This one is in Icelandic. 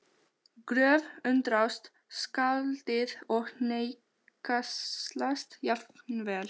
Gröf- undrast skáldið og hneykslast jafnvel